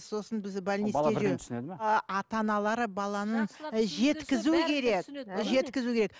сосын бізді ата аналары баланың